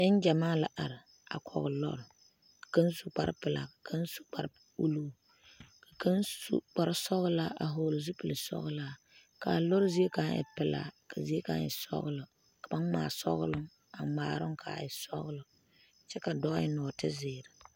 Neŋgyamaa la are koge lɔre kaŋ su kparre pelaa kaŋ su kparre uluu kaŋ su kparre sɔgelaa s vɔgele zu pile sɔgelaa kaa lɔre zie kaŋ e pelaa kaa zie kaŋ e sɔgelɔ ka ba ŋmaa sɔgelɔ a ŋmaa a ŋmaaroŋ ka a e sɔgelɔ kyɛ a dɔɔ eŋ nɔɔte zeere